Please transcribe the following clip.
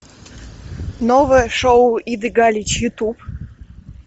новое шоу иды галич ютуб